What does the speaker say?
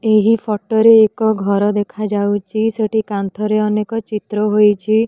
ଏହି ଫଟୋ ରେ ଏକ ଘର ଦେଖାଯାଉଚି ସେଠି କାନ୍ଥରେ ଅନେକ ଚିତ୍ର ହୋଇଚି ।